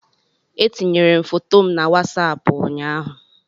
Etinyere m foto m na wasapụ ụnyaahụ